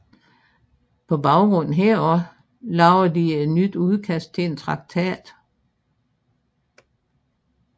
På baggrund heraf lavede de et nyt udkast til en traktat